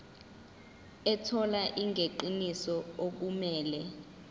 ethola ingeniso okumele